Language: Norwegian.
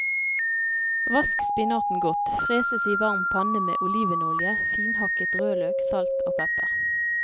Vask spinaten godt, freses i varm panne med olivenolje, finhakket rødløk, salt og pepper.